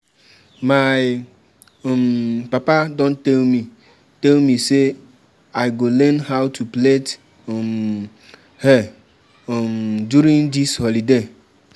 My um papa don tell me tell me say I go learn how to plait um hair um during dis holiday